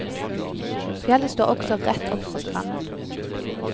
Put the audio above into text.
Fjellet står også rett opp fra stranden.